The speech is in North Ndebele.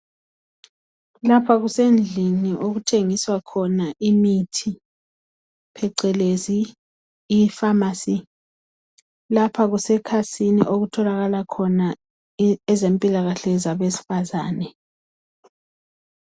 Lapha kusendlini okuthengiswa khona imithi phecelezi ifamasi .Lapha kusekhasini okutholakala khona ezempilakahle zabesifazane.